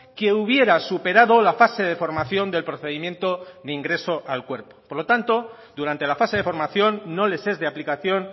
que hubiera superado la fase de formación del procedimiento de ingreso al cuerpo por lo tanto durante la fase de formación no les es de aplicación